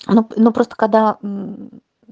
ну просто когда мм